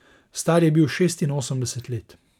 Star je bil šestinosemdeset let.